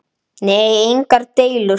Nei, engar deilur.